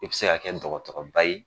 I bi se ka kɛ dɔgɔtɔrɔba ye